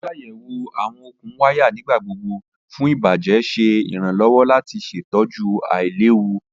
Ṣiṣayẹwo awọn okun waya nigbagbogbo fun ibajẹ ṣe iranlọwọ lati ṣetọju ailewu